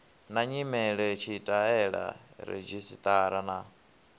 na nyimele tshitaela redzhisṱara na